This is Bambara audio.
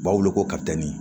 U b'a wele ko